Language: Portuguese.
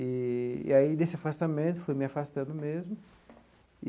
Eee e aí, desse afastamento, fui me afastando mesmo.